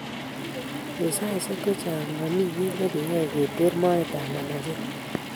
Eng' saaisiek chechang' momi kii nekeyoe keter metoet ab manachet